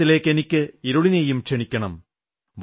വെളിച്ചത്തിലേക്കിനിയിരുളിനെയും ക്ഷണിക്കണം